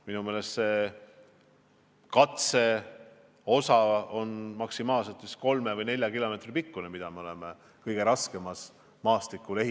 Minu meelest see katseosa, mida me oleme kõige raskemal maastikul ehitanud, on maksimaalselt kolme või nelja kilomeetri pikkune.